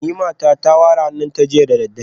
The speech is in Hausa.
Nimata ta ware hannunta jiya da daddare